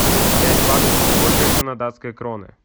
пять баксов сколько это на датской кроны